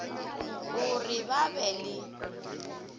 o re ba be le